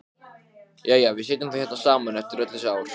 Ég skal finna þetta bréf, Kamilla.